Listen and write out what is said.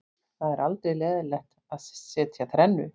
Það er aldrei leiðinlegt að setja þrennu.